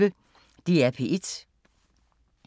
DR P1